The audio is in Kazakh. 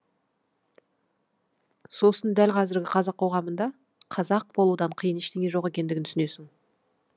сосын дәл қазіргі қазақ қоғамында қазақ болудан қиын ештеңе жоқ екендігін түсінесің